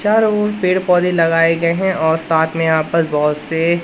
चारों ओर पेड़ पौधे लगाए गए हैं और साथ में यहां पर बहोत से--